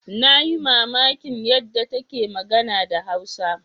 Na yi mamakin yadda take magana da Hausa.